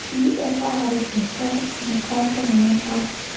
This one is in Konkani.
थी एका आरश्याच्या मुखार रावोन नाचता.